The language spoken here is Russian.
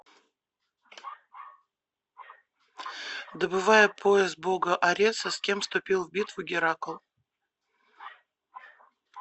добывая пояс бога ареса с кем вступил в битву геракл